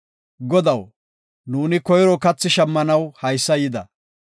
“Godaw, nuuni koyro kathi shammanaw haysa yida.